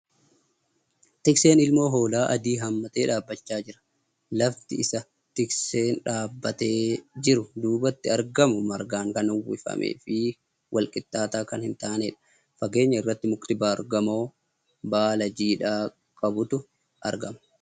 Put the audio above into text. Tikseen ilmoo hoolaa adii hammatee dhaabbachaa jira. Lafti isa tiksee dhaabbatee jiru duubatti argamu margaan kan uwwifamee fi wal wlqixxaataa kan hin taaneedha. Fageenya irratti mukti baargamoo baala jiidha qaburu argama.